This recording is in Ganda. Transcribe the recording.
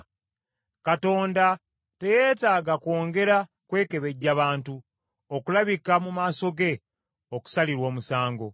Katonda teyeetaaga kwongera kwekebejja bantu okulabika mu maaso ge okusalirwa omusango.